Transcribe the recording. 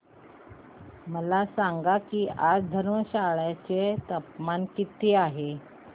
मला सांगा की आज धर्मशाला चे तापमान किती आहे